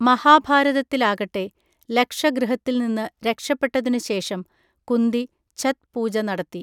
മഹാഭാരതത്തിലാകട്ടെ, ലക്ഷഗൃഹത്തിൽ നിന്ന് രക്ഷപ്പെട്ടതിനുശേഷം കുന്തി ഛത് പൂജ നടത്തി.